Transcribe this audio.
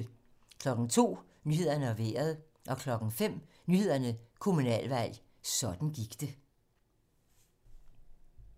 02:00: Nyhederne og Vejret 05:00: Nyhederne: Kommunalvalg - sådan gik det